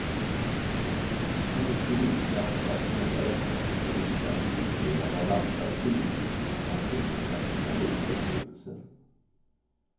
Hennes drivkraft att måla detta är inte att illustrera vad andra skrivit utan att förmedla sina egna upplevelser.